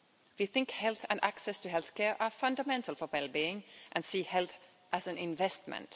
We think health and access to healthcare are fundamental for well being and see health as an investment.